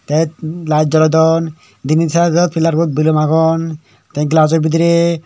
tet lite jolodon denej sijo pillar bot balloon agon te glass jo biderey.